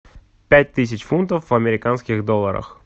пять тысяч фунтов в американских долларах